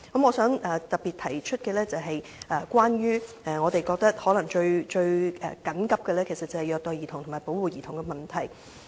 我想特別提出的一點關乎我們認為最緊急的事宜，即虐待兒童和保護兒童的問題。